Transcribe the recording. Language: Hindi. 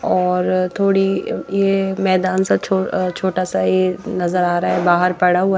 और थोड़ी ये मैदान सा अ छोटा सा ये नजर आ रहा है बाहर पड़ा हुआ--